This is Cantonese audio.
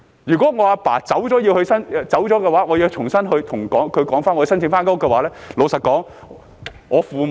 如果我父親離世，我要重新向政府申請改動該寮屋的話，老實說，我父母......